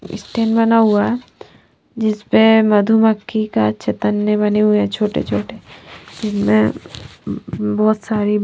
stand बना हुआ है जिस पे मधुमख्खी का छटन भी बने हुए है छोटे छोटे जिसमे बहुत सारी--